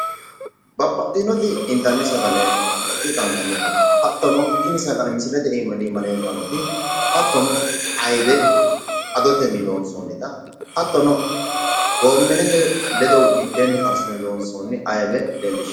babaxitinoti intanni sagale nooti qaangannite hattono tini sagale leellishshannoti hattono ayiibe adotonni loonssoonita hattono goomenete ledo mitteenni karsine loonsoonita leellishanno.